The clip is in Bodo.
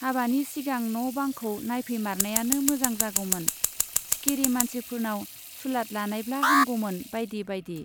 हाबानि सिगां न' बांखौ नाइफैमारनायानो मोजां जागौमोन, सिखिरि मानसिफोरनाव सुलाद लानायब्ला हामगौमोन-बाइदि बाइदि।